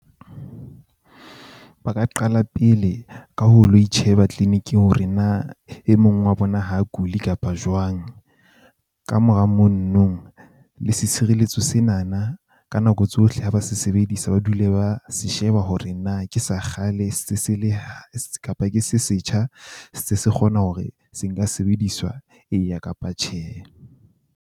Ba ka qala pele ka ho lo itjheba clinic-ing hore na e mong wa bona ho kuli kapa jwang. Kamora mono no le setshireletso sena na ka nako tsohle ha ba se sebedisa, ba dule ba se sheba hore na ke sa kgale se se le kapa ke se setjha. Se se kgona hore se nka sebediswa eya kapa tjhe.